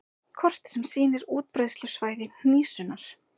Kort sem sýnir útbreiðslusvæði hnísunnar.